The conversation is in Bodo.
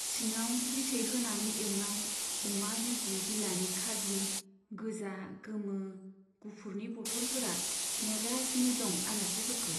सिङाव बिथै होनानै एउनाय अमा बिबु बिलानि खाजि, गोजा, गोमो, गुफुरनि बटलफोरा नेगासिनो दं आलासिफोरखौ।